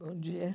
Bom dia.